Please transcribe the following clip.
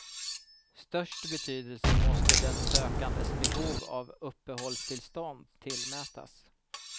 Störst betydelse måste den sökandes behov av uppehållstillstånd tillmätas.